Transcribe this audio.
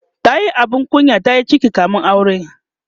tayi abin kunya tayi ciki kamin aure